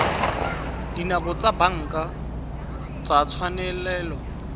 dinako tsa banka tsa tswalelo